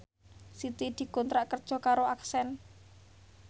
Siti dikontrak kerja karo Accent